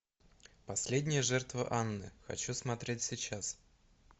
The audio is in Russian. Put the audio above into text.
последняя жертва анны хочу смотреть сейчас